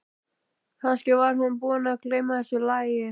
Kannski var hún búin að gleyma þessu lagi.